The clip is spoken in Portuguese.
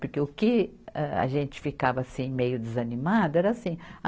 Porque o que a, a gente ficava assim, meio desanimada, era assim.